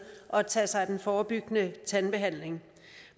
at tage sig af den forebyggende tandbehandling